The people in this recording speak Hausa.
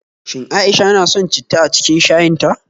Shin A'isha na son citta a cikin shayin ta?